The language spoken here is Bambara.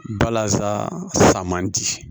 Balasa man di